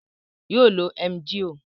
Yoo lo Emgyl.